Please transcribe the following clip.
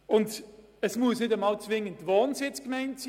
Dabei muss es sich nicht um die Wohnsitzgemeinde handeln.